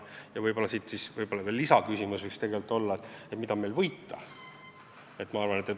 Ja siis veel lisaküsimus, mida meil võita on.